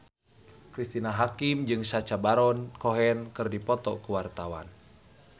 Cristine Hakim jeung Sacha Baron Cohen keur dipoto ku wartawan